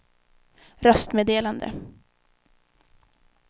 röstmeddelande